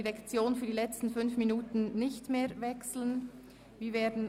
Für die letzten 5 Minuten wechseln wir die Direktion nicht mehr.